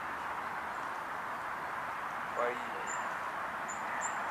фаине